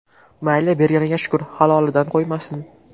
Mayli berganiga shukr, halolidan qo‘ymasin.